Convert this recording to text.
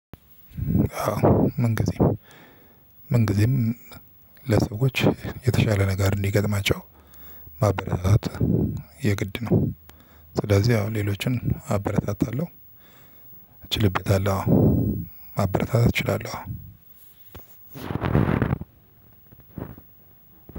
ምን ግዜም? ምን ግዜም? ለሰዎች የተሻለ ነገር እንዲገጥማቸው ማበረታታት የግድ ነው። ስለዚህ ያው ሌሎችን አበረታታለሁ። እችልበታለሁ ማበረታታት እችላለሁ።